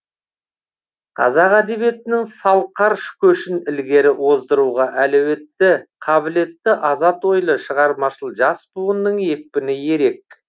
қазақ әдебиетінің салқар көшін ілгері оздыруға әлеуетті қабілетті азат ойлы шығармашыл жас буынның екпіні ерек